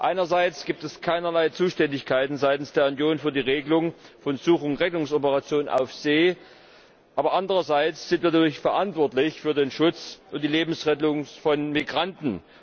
Einerseits gibt es keinerlei Zuständigkeiten seitens der Union für die Regelung von Such und Rettungsoperationen auf See, aber andererseits sind wir natürlich verantwortlich für den Schutz und die Lebensrettung von Migranten.